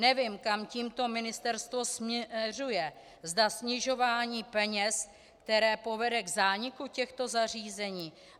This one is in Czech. Nevím, kam tímto ministerstvo směřuje, zda snižování peněz, které povede k zániku těchto zařízení?